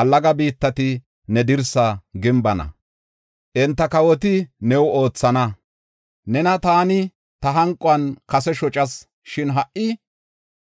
“Allaga biittati ne dirsaa gimbana; enta kawoti new oothana. Nena taani ta hanquwan kase shocas, shin ha77i